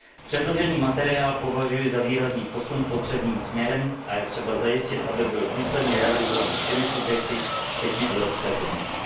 Předložený materiál považuji za výrazný posun potřebným směrem a je třeba zajistit, aby byl důsledně realizován všemi subjekty, včetně Evropské komise.